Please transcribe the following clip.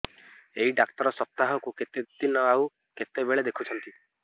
ଏଇ ଡ଼ାକ୍ତର ସପ୍ତାହକୁ କେତେଦିନ ଆଉ କେତେବେଳେ ଦେଖୁଛନ୍ତି